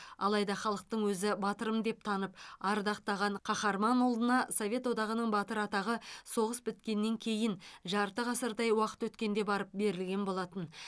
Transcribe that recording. алайда халықтың өзі батырым деп танып ардақтаған қаһарман ұлына совет одағының батыры атағы соғыс біткеннен кейін жарты ғасырдай уақыт өткенде барып берілген болатын